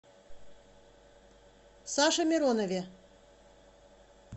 саше миронове